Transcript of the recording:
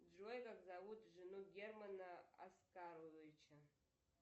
джой как зовут жену германа оскаровича